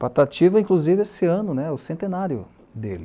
Patativa, inclusive, esse ano, o centenário dele.